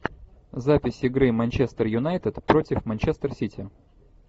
запись игры манчестер юнайтед против манчестер сити